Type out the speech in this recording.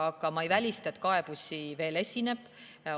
Aga ma ei välista, et kaebusi veel esineb.